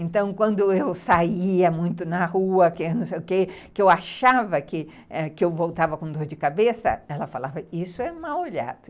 Então, quando eu saía muito na rua, que não sei o que, que eu achava que eu voltava com dor de cabeça, ela falava, isso é mau-olhado.